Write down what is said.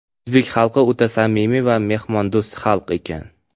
O‘zbek xalqi o‘ta samimiy va mehmondo‘st xalq ekan.